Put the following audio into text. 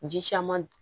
Ji caman